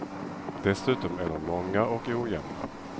Dessutom är de många och ojämna.